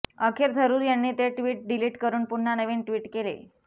अखेर थरूर यांनी ते ट्वीट डिलिट करून पुन्हा नवीन ट्वीट केले